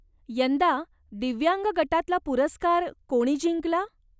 यंदा दिव्यांग गटातला पुरस्कार कोणी जिंकला?